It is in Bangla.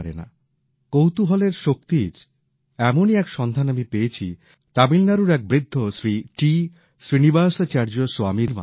কৌতূহলের শক্তির এমনই এক সন্ধান আমি পেয়েছি তামিলনাড়ুর এক বৃদ্ধ শ্রী টি শ্রীনিবাসাচার্য স্বামীর মাধ্যমে